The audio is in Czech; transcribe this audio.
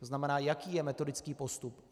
To znamená, jaký je metodický postup?